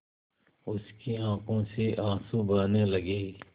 उसकी आँखों से आँसू बहने लगे